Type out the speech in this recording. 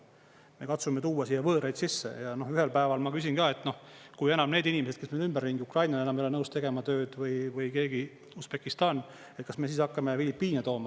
Me katsume tuua siia võõraid sisse ja ühel päeval ma küsin, et kui enam need inimesed, kes meil ümberringi on, ukrainlane enam ei ole nõus tegema tööd või keegi Usbekistanist, kas me siis hakkame filipiine tooma.